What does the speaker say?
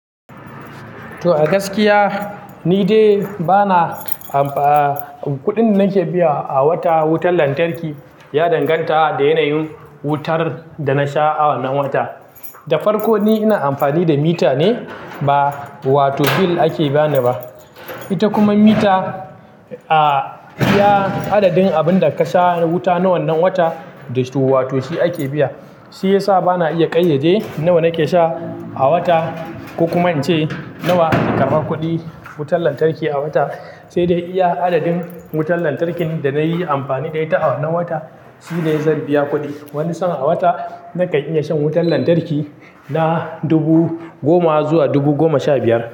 To a gaskiya ni dai bana amfa-- kuɗin da nake biya a wata wutar lantarki ya danganta da yanayin wutar da na sha a wannan wata. Da farko ni ina amfani da mita ne ba wato bil ake bani ba. Ita kuma mita, ah, iya adadin abin da ka sha wuta na wannan wata, da su wato shi ake biya. Shi ya sa bana iya ƙayyade nawa nake sha a wata, ko kuma in ce nawa zan karɓa kuɗin wutar lantarki a wata. Sai dai iya adadin wutar lantarkin da na yi amfani da ita a wannan wata, shi ne zan biya kuɗi. Wani sa'a a wata nakan iya shan wutar lantarki na dubu goma zuwa dubu goma sha biyar.